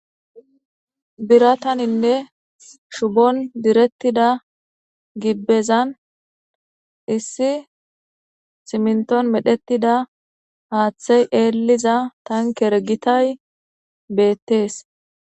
birataninne shubon direttida gibbezan issi simnton medhetida haaththey eelliza tankergitay beettees